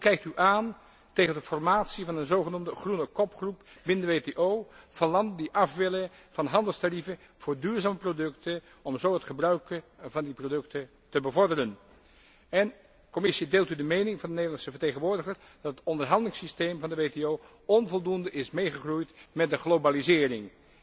Hoe kijkt u aan tegen de formatie van een zogenoemde groene kopgroep binnen de WTO van landen die af willen van handelstarieven voor duurzame producten om zo het gebruik van die producten te bevorderen. En Commissie, deelt u de mening van de Nederlandse vertegenwoordiger, dat het onderhandelingssysteem van de WTO onvoldoende is meegegroeid met de globalisering?